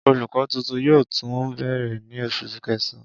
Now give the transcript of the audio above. Olukọ tuntun yoo tun bẹrẹ ni Oṣu Kẹsan